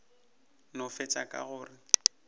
no fetša ka go re